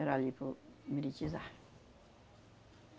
Era ali para o.